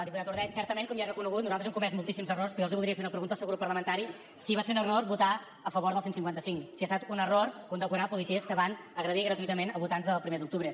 diputat ordeig certament com ja hem reconegut nosaltres hem comès moltíssims errors però jo voldria fer una pregunta al seu grup parlamentari si va ser un error votar a favor del cent i cinquanta cinc si ha estat un error condecorar policies que van agredir gratuïtament a votants del primer d’octubre